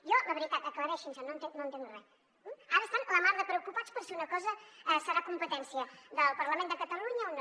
jo la veritat aclareixinse no entenc res eh ara estan la mar de preocupats per si una cosa deu ser competència del parlament de catalunya o no